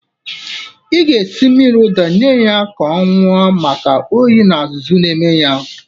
Ị ga-esi mmiri ụda nye ya ka ọ ñụọ maka oyi na azụzụ ọ na-enwe.